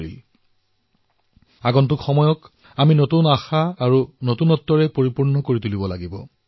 আমি আগন্তুক সময়ছোৱা নতুন আশা আৰু নৱীনতাৰে পূৰ্ণ কৰিব লাগিব